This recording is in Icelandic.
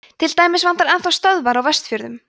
til dæmis vantar enn þá stöðvar á vestfjörðum